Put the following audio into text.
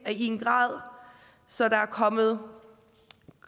en grad så der er kommet